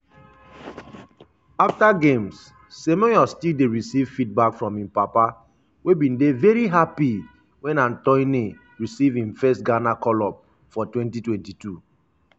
afta games semenyo still dey receive feedback from im papa wey bin dey veri happy wen antoine receive im first ghana call-up for 2022.